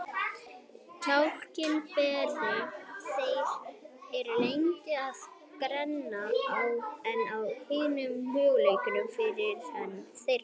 Kjálkabein þeirra eru lengri og grennri en á hinum mögulega fyrirrennara þeirra.